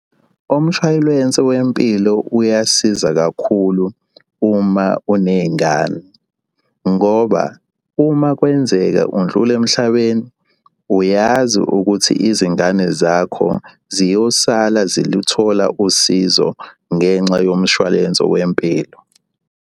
Umshwalense wempilo uyasiza kakhulu uma uney'ngane ngoba uma kwenzeka undlula emhlabeni uyazi ukuthi izingane zakho ziyosala ziluthola usizo ngenxa yomshwalense wempilo.